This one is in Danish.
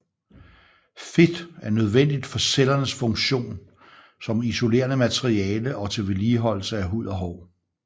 Fedt er nødvendigt for cellernes funktion som isolerende materiale og til vedligeholdelse af hud og hår